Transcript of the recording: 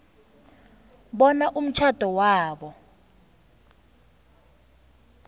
bona umtjhado wabo